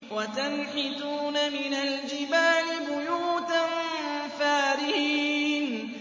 وَتَنْحِتُونَ مِنَ الْجِبَالِ بُيُوتًا فَارِهِينَ